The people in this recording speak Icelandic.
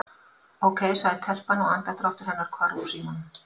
Ókei- sagði telpan og andardráttur hennar hvarf úr símanum.